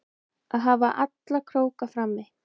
Að hafa alla króka frammi